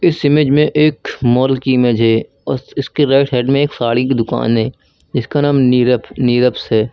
इस इमेज में एक मॉल की इमेज है और उसके राइट साइड में एक साड़ी की दुकान है इसका नाम नीरफ़ निरफ्स है।